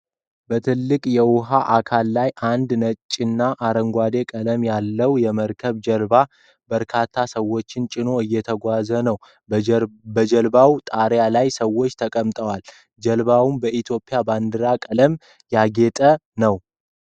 በትልቅ የውሃ አካል ላይ አንድ ነጭና አረንጓዴ ቀለም ያለው የመርከብ ጀልባ በርካታ ሰዎችን ጭኖ እየተጓዘ ነው። በጀልባው ጣሪያ ላይ ሰዎች ተቀምጠዋል፤ ጀልባውም በኢትዮጵያ ባንዲራ ቀለም ያጌጠ ነው።